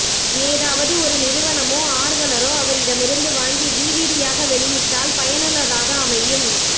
ஏதாவது ஒரு நிறுவனமோ ஆர்வலரோ அவரிடமிருந்து வாங்கி டிவிடியாக வெளியிட்டால் பயனுள்ளதாக அமையும்